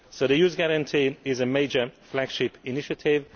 So the Youth Guarantee is a major flagship initiative.